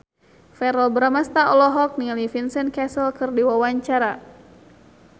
Verrell Bramastra olohok ningali Vincent Cassel keur diwawancara